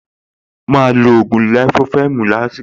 Máa lo ògùn lẹ̀fófẹ́ẹ̀mù lásìkò